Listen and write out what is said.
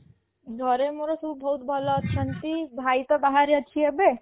ଘରେ ମୋର ସବୁ ବହୁତ୍ ଭଲ ଅଛନ୍ତି ଭାଇ ତ ବାହାରେ ଅଛି ଏବେ